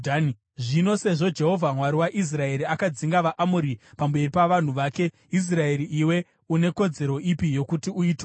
“Zvino sezvo Jehovha, Mwari waIsraeri akadzinga vaAmori pamberi pavanhu vake Israeri, iwe une kodzero ipi yokuti uitore?